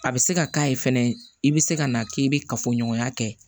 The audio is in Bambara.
A bɛ se ka k'a ye fɛnɛ i bɛ se ka na k'i bɛ kafoɲɔgɔnya kɛ